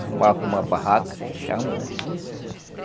Armava uma barraca, que se chama, né?